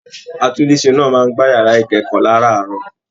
Àtùnlèse náà máa n gbà yàrá ikẹkọọ láràárọ̀.